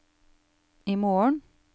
imorgen